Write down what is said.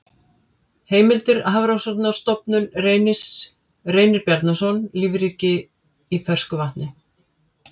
Heimildir Hafrannsóknarstofnun Reynir Bjarnason, Lífríkið í fersku vatni.